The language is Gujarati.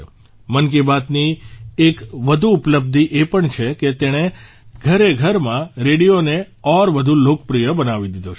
મન કી બાતની એક વધુ ઉપલબ્ધિ એ પણ છે કે તેણે ઘરેઘરમાં રેડિયોને ઔર વધુ લોકપ્રિય બનાવી દીધો છે